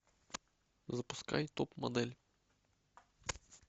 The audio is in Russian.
запускай топ модель